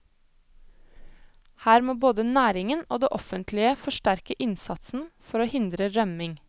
Her må både næringen og det offentlige forsterke innsatsen for å hindre rømming.